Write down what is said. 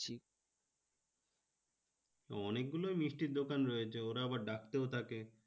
অনেকগুলোই মিষ্টির দোকান রয়েছে। ওরা আবার ডাকতেও থাকে।